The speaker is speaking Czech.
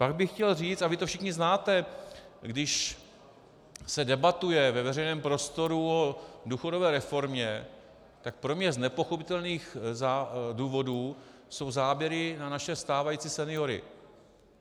Pak bych chtěl říci, a vy to všichni znáte, když se debatuje ve veřejném prostoru o důchodové reformě, tak pro mě z nepochopitelných důvodů jsou záběry na naše stávající seniory.